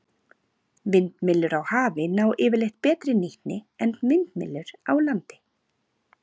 Vindmyllur á hafi ná yfirleitt betri nýtni en vindmyllur á landi.